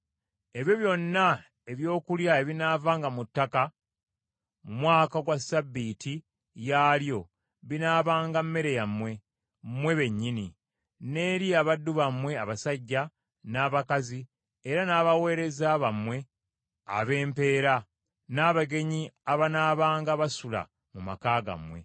Ebyo byonna ebyokulya ebinaavanga mu ttaka mu mwaka ogwa ssabbiiti yaalyo binaabanga mmere yammwe, mmwe bennyini, n’eri abaddu bammwe abasajja, n’abakazi, era n’abaweereza bammwe ab’empeera, n’abagenyi abanaabanga basula mu maka gammwe;